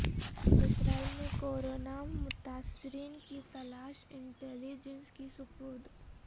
اسرائیل میں کرونا متاثرین کی تلاش انٹیلی جنس کے سپرد